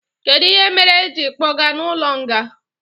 Kedu ihe mere e ji kpoga n' ụlo nga?